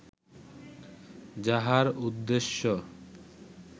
যাহার উদ্দেশ্য